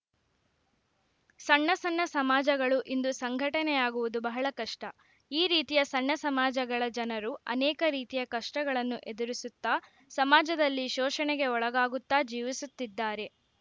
ಸಣ್ಣ ಸಣ್ಣ ಸಮಾಜಗಳು ಇಂದು ಸಂಘಟನೆಯಾಗುವುದು ಬಹಳ ಕಷ್ಟ ಈ ರೀತಿಯ ಸಣ್ಣ ಸಮಾಜಗಳ ಜನರು ಅನೇಕ ರೀತಿಯ ಕಷ್ಟಗಳನ್ನು ಎದುರಿಸುತ್ತಾ ಸಮಾಜದಲ್ಲಿ ಶೋಷಣೆಗೆ ಒಳಗಾಗುತ್ತಾ ಜೀವಿಸುತ್ತಿದ್ದಾರೆ